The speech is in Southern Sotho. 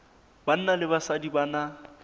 banna le basadi ba na